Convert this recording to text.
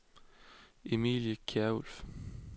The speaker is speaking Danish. Emilie Kjærulff